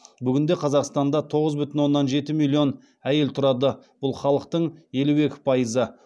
бүгінде қазақстанда тоғыз бүтін оннан жеті әйел тұрады бұл халықтың елу екі пайызы